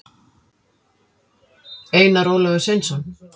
einar ólafur sveinsson